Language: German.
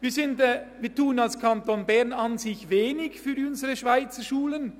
Wir tun als Kanton Bern an sich wenig für unsere Schweizerschulen.